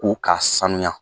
U k'a sanuya